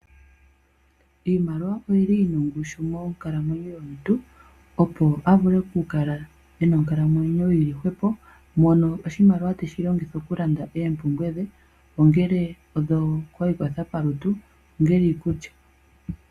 Iimaliwa oyili yi na ongushu monkalamwenyo yomuntu, opo a vule oku kala ena onkalamwenyo yili hwepo, mono oshimaliwa teshi longitha okulanda oompumbwe dhe, ongele odho paikwatho palutu, ongele iikulya.